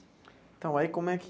Então, aí como é que...